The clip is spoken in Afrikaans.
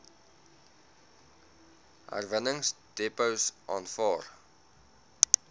herwinningsdepots aanvaar